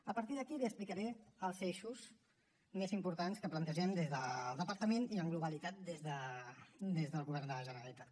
a partir d’aquí li explicaré els eixos més importants que plantegem des del departament i amb globalitat des del govern de la generalitat